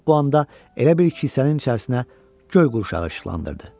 Lap bu anda elə bil ki, kilsənin içərisinə göy qurşağı işıqlandırdı.